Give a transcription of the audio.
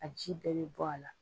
A ji bɛɛ bɛ bɔ a la.